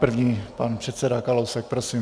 První pan předseda Kalousek, prosím.